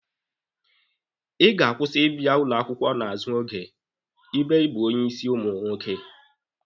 Ị ga-akwụsị ịbịa ụlọ akwụkwọ n'azụ oge ebe ị bụ onye ịsị ụmụ nwoke!